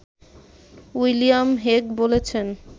William Hague বলেছেন